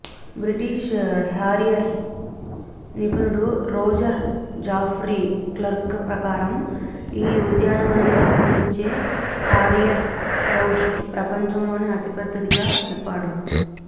British harrier నిపుణుడు Roger Geoffrey Clarke ప్రకారం ఈ ఉద్యానవనంలో కనిపించే హారియర్ రూస్ట్ ప్రపంచంలోనే అతిపెద్దదిగా చెప్పాడు